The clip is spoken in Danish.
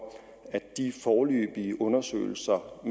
de foreløbige undersøgelser af